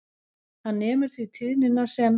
Hann nemur því tíðnina sem